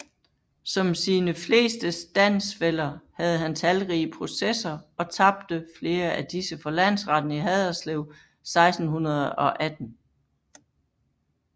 Som sine fleste standsfæller havde han talrige processer og tabte flere af disse for Landretten i Haderslev 1618